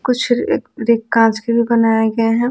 कुछ रिक कांच के भी बनाए गए हैं।